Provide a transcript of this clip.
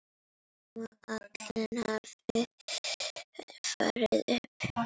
Nema Allen hafi farið upp.